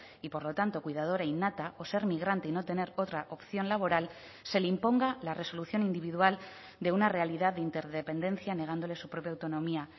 y por lo tanto cuidadora innata o ser migrante y no tener otra opción laboral se le imponga la resolución individual de una realidad de interdependencia negándole su propia autonomía